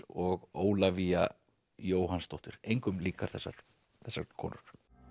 og Ólafía Jóhannsdóttir engum líkar þessar þessar konur